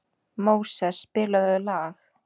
Móses, spilaðu lag.